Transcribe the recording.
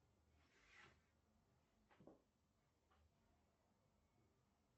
сбер что такое бухгалтерский регистр